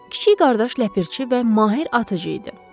Kiçik qardaş ləpərçi və mahir atıcı idi.